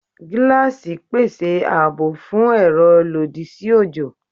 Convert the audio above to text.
Gilaasi pese aabo fun ero lodi si ojo